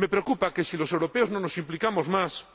Me preocupa que, si los europeos no nos implicamos más,